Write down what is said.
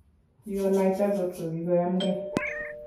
kigonaita kotkogigoyamge